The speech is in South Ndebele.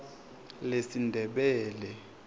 lesindebele